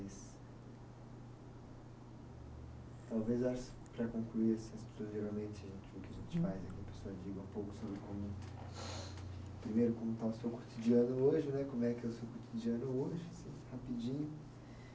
Talvez eu acho, para concluir, geralmente o que a gente faz é que a pessoa diga um pouco sobre como, primeiro, como está o seu cotidiano hoje né, como é que é o seu cotidiano hoje, rapidinho.